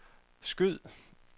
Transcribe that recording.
skyd